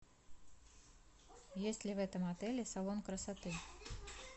есть ли в этом отеле салон красоты